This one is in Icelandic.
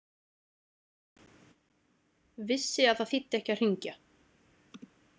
Vissi að það þýddi ekki að hringja.